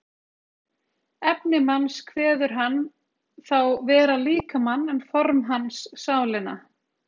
Efni manns kveður hann þá vera líkamann en form hans sálina.